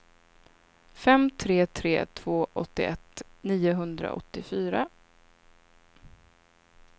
fem tre tre två åttioett niohundraåttiofyra